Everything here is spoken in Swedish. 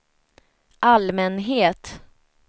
allmänhet